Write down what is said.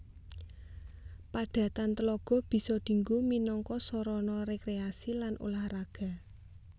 Padatan tlaga bisa dinggo minangka sarana rekreasi lan ulah raga